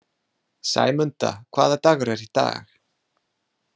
Sæmunda, hvaða dagur er í dag?